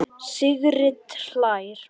Sigrid hlær.